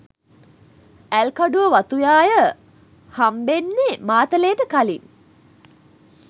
ඇල්කඩුව වතුයාය හම්බෙන්නේ මාතලේට කලින්.